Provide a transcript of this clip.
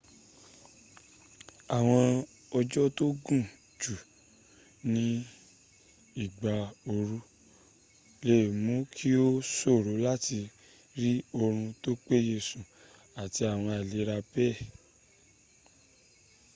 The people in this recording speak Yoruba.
awon ojo to gun ju ni igba ooru le muu ki o soro lati ri orun to peye sun ati awon ailera bee